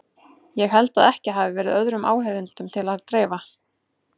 Ég held að ekki hafi verið öðrum áheyrendum til að dreifa.